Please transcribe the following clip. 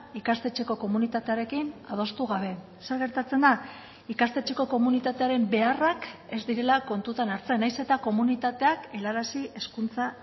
ikastetxeko komunitatearekin adostu gabe zer gertatzen da ikastetxeko komunitatearen beharrak ez direla kontutan hartzen nahiz eta komunitateak helarazi hezkuntza